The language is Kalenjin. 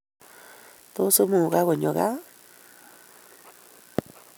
Tos imugak konyo kaa?